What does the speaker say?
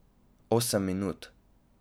Osem minut.